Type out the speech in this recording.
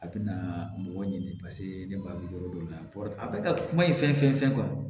A bɛna mɔgɔ ɲini paseke ne b'a jɔ yɔrɔ dɔn a bɛ ka kuma ye fɛn fɛn